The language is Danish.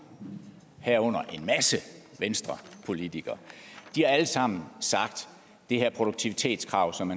herunder en masse venstrepolitikere har alle sammen sagt at det her produktivitetskrav som